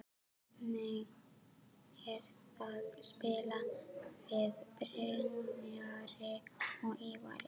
Hvernig er að spila með Brynjari og Ívari?